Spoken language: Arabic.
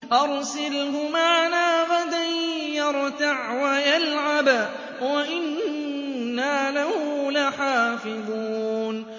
أَرْسِلْهُ مَعَنَا غَدًا يَرْتَعْ وَيَلْعَبْ وَإِنَّا لَهُ لَحَافِظُونَ